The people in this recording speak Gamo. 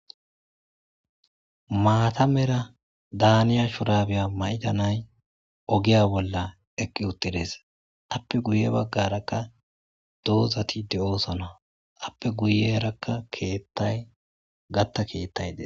Mata Mera maliza shuraba mayida nayi ogiya bolla eqi uttides. A PPE guye bagara dozati de'osona. A ppe guyaraka kethay gatta kethay Des.